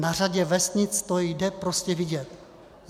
Na řadě vesnic to lze prostě vidět.